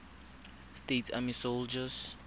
states army soldiers